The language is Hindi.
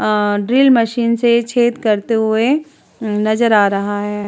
आ ड्रिल मशीन से छेद करते हुए नजर आ रहा है।